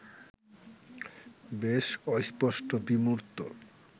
বেশ অস্পষ্ট, বিমূর্ত